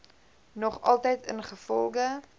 nog altyd ingevolge